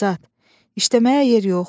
Azad, işləməyə yer yox.